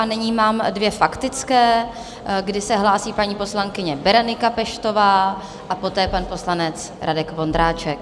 A nyní mám dvě faktické, kdy se hlásí paní poslankyně Berenika Peštová a poté pan poslanec Radek Vondráček.